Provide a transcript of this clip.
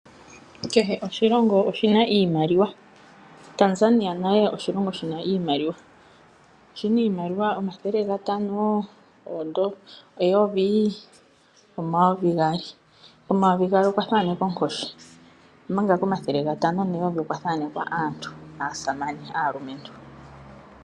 Kehe oshilongo oshina iimaliwa. Tanzania oshilongo shina iimaliwa yomafo ngaashi omathele gatano, eyovi, omayovi gaali. Komayovi gaali okwa thaanekwa onkoshi. Komathele gatano okwa thaanekwa aasamane.